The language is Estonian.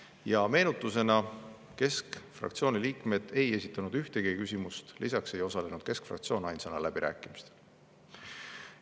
Ja meenutusena: keskfraktsiooni liikmed ei esitanud ühtegi küsimust, lisaks ei osalenud keskfraktsioon ainsana läbirääkimistel.